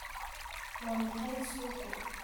Waa maxay suuqu?